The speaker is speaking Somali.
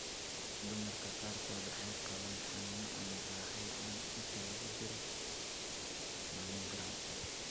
Dumarka qaarkood waxay qabaan xanuun ama raaxo la'aan inta lagu jiro mammogram.